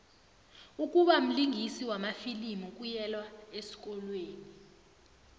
ukubamlingisi wamafilimu kuyelwa esikolweni